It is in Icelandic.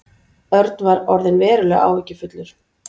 Örn var orðinn verulega áhyggjufullur.